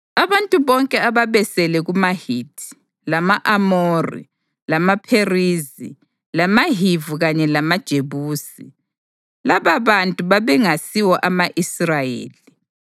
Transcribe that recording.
Abantu bonke ababesele kumaHithi, lama-Amori, lamaPherizi, lamaHivi kanye lamaJebusi (lababantu babengasiwo ama-Israyeli),